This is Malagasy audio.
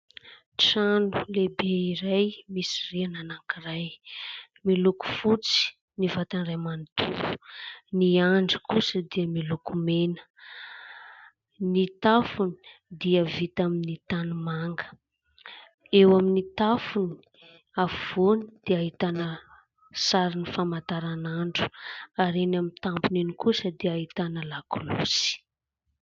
Trano lehibe iray misy rihana anankiray. Miloko fotsy ny vatany iray manontolo ; ny andry kosa dia miloko mena. Ny tafony dia vita amin'ny tanimanga, eo amin'ny tafony afovoany dia ahitana sarin'ny famataranandro ary eny amin'ny tampony eny kosa dia ahitana lakolosy.